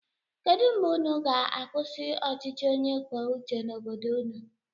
Kedụ mgbe ụnụ ga-akwụsị ọchịchị onye kwuo uche n'obodo ụnụ?